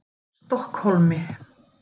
Stokkhólmi